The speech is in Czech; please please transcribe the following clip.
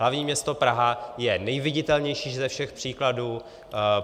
Hlavní město Praha je nejviditelnější ze všech příkladů.